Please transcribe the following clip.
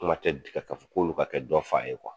Kuma tɛ di ka ka fɔ k'olu ka kɛ dɔ fa ye